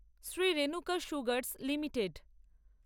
Shri Renuka sugars limited